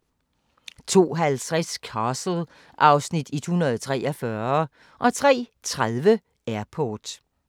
02:50: Castle (Afs. 143) 03:30: Airport